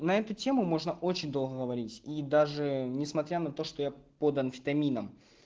на эту тему можно очень долго говорить и даже несмотря на то что я под амфетамином